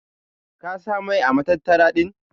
Ka sa mai ã matattara din.